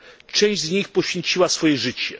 Część z nich poświęciła swoje życie.